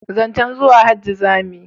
zancen zuwa hajji za mu yi